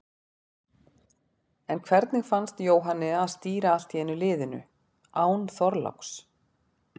En hvernig fannst Jóhanni að stýra allt í einu liðinu, án Þorláks?